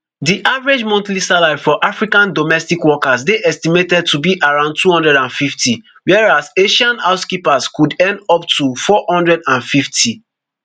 di average monthly salary for african domestic workers dey estimated to be around two hundred and fifty whereas asian housekeepers could earn up to four hundred and fifty